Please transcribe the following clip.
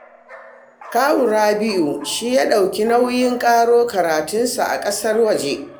Kawun Rabi'u shi ya ɗauki nauyin ƙaro karatunsa a ƙasar waje